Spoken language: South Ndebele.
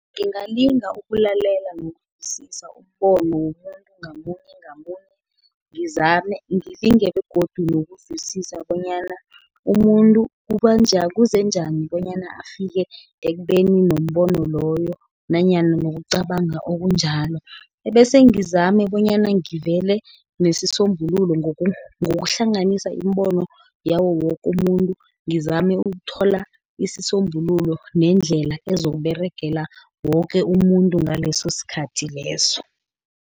Ngingalinga ukulalela nokuzwisisa umbono womuntu ngamunye, ngamunye ngilinge begodu nokuzwisisa bonyana umuntu kuze njani bonyana afike ekubeni nombono loyo, nanyana nokucabanga okunjalo, ebese ngizame bonyana ngivele nesisombululo ngokuhlanganisa imibono yawo woke umuntu, ngizame ukuthola isisombululo, nendlela ezokuberegela woke umuntu ngaleso sikhathi leso.